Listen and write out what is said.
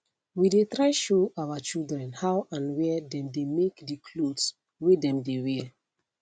we dey try show our children how and where them dey make the clothes whey dem dey wear